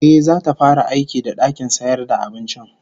Ehh, zata fara aiki da dakin sayar da abincin